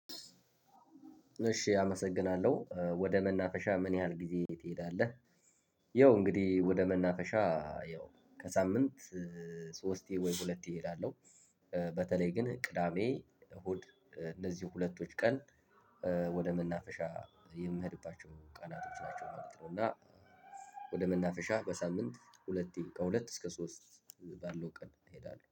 እሽ አመሰግናለሁ። ወደ መናፈሻ ምን ያህል ጊዜ ትሄዳለህ? ያው እንግዲህ ወደ መናፈሻ ያው ከሳምንት ሶስቴ ወይ ሁለቴ እሄዳለሁ። በተለይ ግን ቅዳሜ፣ እሁድ እነዚህ ሁለቶች ቀን ወደ መናፈሻ የምሄድባቸው ቀናቶች ናቸው ማለት ነው። እና ወደ መናፈሻ በሳምንት ሁለቴ ከሁለት እስከ ሶስት ባለው ቀን እሄዳለሁ።